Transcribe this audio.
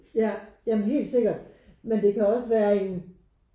Ja ja men helt sikkert men det kan også være en